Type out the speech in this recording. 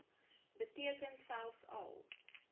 beteken selfs al